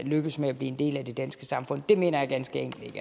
lykkes med at blive en del af det danske samfund det mener jeg ganske enkelt